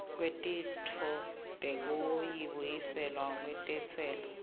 kwetintfo tekubuyiselwa kwentsela